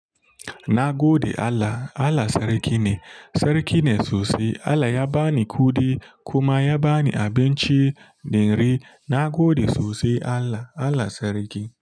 Na gode Allah. Allah sarki ne, sarki ne sosai. Allah ya ba ni kuɗi kuma ya ba ni abinci da rai. Na gode sosai Allah. Allah sarki.